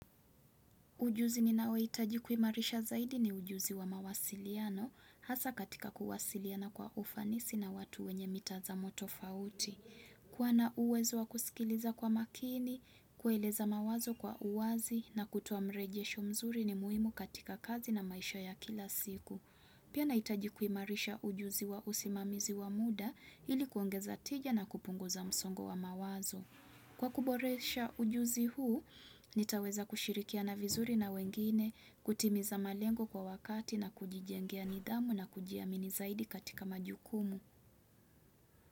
Ujuzi ni nao itaji kumarisha zaidi ni ujuzi wa mawasiliano, hasa katika kuwasiliana kwa ufanisi na watu wenye mitazamo tofauti. Kuwana uwezo wa kusikiliza kwa makini, kueleza mawazo kwa uwazi na kutoa mreje sho mzuri ni muhimu katika kazi na maisha ya kila siku. Pia naitaji kuimarisha ujuzi wa usimamizi wa muda ili kuongeza tija na kupunguza msongo wa mawazo. Kwa kuboresha ujuzi huu, nitaweza kushirikiana vizuri na wengine, kutimiza malengo kwa wakati na kujijengia nidhamu na kujiamini zaidi katika majukumu.